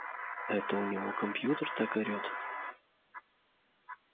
это у него компьютер так орёт